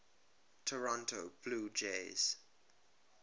toronto blue jays